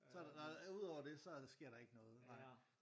Så der og ud over det så sker der ikke noget